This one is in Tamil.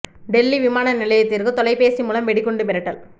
டெல்லி விமான நிலையத்திற்கு தொலைபேசி மூலம் வெடிகுண்டு மிரட்டல்